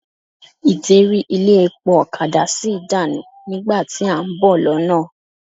Ìderí ilé epo ọ̀kadà sí dànù nígbà tí à ń bọ̀ lọ́nà.